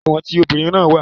Ẹ̀wọ̀n tí tobinrin na wà